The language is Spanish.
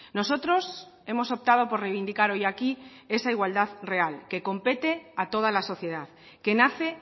nosotros hemos optado por reivindicar hoy aquí esa igualdad real que compete a toda la sociedad que nace